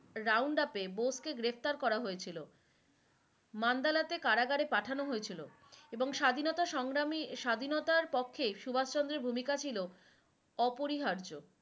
roundup গ্রেপ্তার করা হয়েছিলো মান্দালাতে কারাগারে পাঠানো হয়েছিলো এবং স্বাধীনতা সংগ্রামী স্বাধীনতার পক্ষে সুভাষ চন্দ্রের ভূমিকা ছিলো অপরিহার্য